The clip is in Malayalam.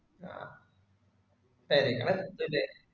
അഹ്